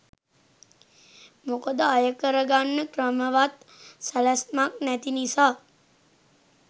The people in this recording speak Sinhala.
මොකද අය කර ගන්න ක්‍රමවත් සැලැස්මක් නැති නිසා.